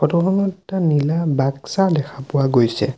Photo খনত এটা নীলা বাক্সা দেখা পোৱা গৈছে।